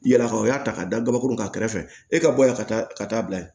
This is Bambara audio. Yala o y'a ta ka da gabakuru ka kɛrɛ fɛ e ka bɔ yan ka taa ka taa bila yen